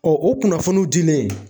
Ɔ o kunnafoniw dilen